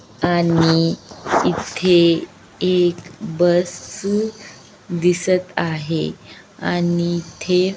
आणि इथे एक बस अ दिसत आहे आणि इथे--